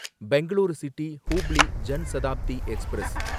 Bangalore city Hubli Jan Shatabdi express